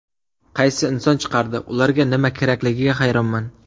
Qaysi inson chiqardi, ularga nima kerakligiga hayronman?